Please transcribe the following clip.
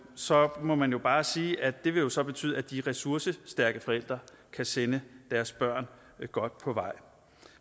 så må man bare sige at det jo så vil betyde at de ressourcestærke forældre kan sende deres børn godt på vej